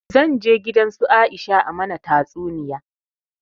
Zan je gidan su Aisha a mana tatsuniya